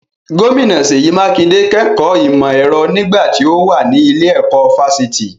Gómìnà Seyi Makinde kẹ́kọ̀ọ́ ìmọ̀ ẹ̀rọ nígbà tí ó mà ní ilé-ẹ̀kọ́ fásitì.